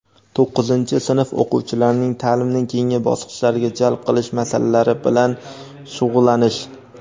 to‘qqizinchi sinf o‘quvchilarini taʼlimning keyingi bosqichlariga jalb qilish masalalari bilan shug‘ullanish;.